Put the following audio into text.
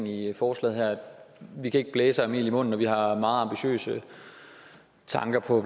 i forslaget vi kan ikke blæse og have mel i munden og vi har meget ambitiøse tanker på